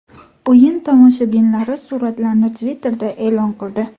O‘yin tomoshabinlari suratlarni Twitter’da e’lon qildi .